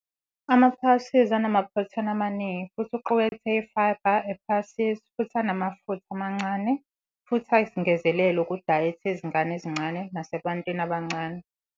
Ama-pulses anamaphrotheni amaningi futhi uqukethe i-fibre i-pulses futhi anamafutha amancane futhi ayisengezelelo kudayethi yezingane ezincane nasebantwini abancane.